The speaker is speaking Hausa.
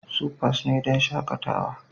Supas ne don shakatawa.